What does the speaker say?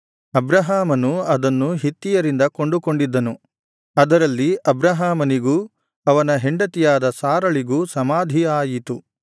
ಅಬ್ರಹಾಮನು ಅದನ್ನು ಹಿತ್ತಿಯರಿಂದ ಕೊಂಡುಕೊಂಡಿದ್ದನು ಅದರಲ್ಲಿ ಅಬ್ರಹಾಮನಿಗೂ ಅವನ ಹೆಂಡತಿಯಾದ ಸಾರಳಿಗೂ ಸಮಾಧಿ ಆಯಿತು